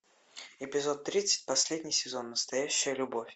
эпизод тридцать последний сезон настоящая любовь